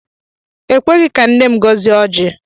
E kweghị ka nne m gọzie ọjị.